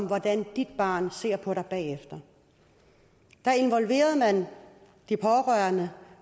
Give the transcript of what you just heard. hvordan dit barn ser på dig bagefter da involverede man de pårørende